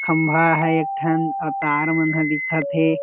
खम्भा हे एक ठन अउ तार मन ह दिखत हे।